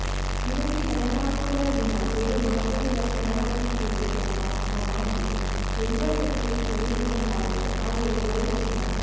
ನಿನಗೆ ಶರಣಾಗುವುದರ ವಿನಾ ಬೇರೆ ಮಾರ್ಗವಿಲ್ಲ ಶರಣಾಗಿದ್ದೇನೆ ಎಂಬ ನಿಮ್ಮ ಮಾತು ದೈವಶಕ್ತಿಗೆ ಕೇಳಿಸುವಂತಾದರೆ ಆಗ ಎಲ್ಲವೂ ಚಿನ್ನ